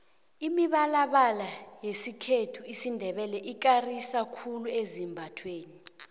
imibalabala yesikhethu isindebele ikarisa khulu ezambathweni